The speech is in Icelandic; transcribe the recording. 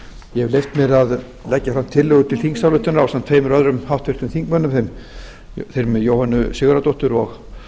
ég hef leyft mér að leggja fram tillögu til þingsályktunar ásamt tveimur öðrum háttvirtum þingmönnum þeim jóhönnu sigurðardóttur og